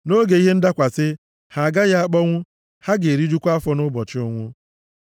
Nʼoge ihe ndakwasị, ha agaghị akpọnwụ; ha ga-erijukwa afọ nʼụbọchị ụnwụ.